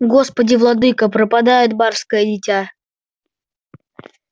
господи владыко пропадёт барское дитя